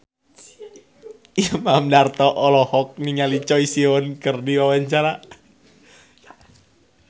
Imam Darto olohok ningali Choi Siwon keur diwawancara